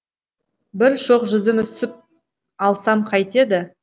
бір шоқ жүзім үзіп алсам қайтеді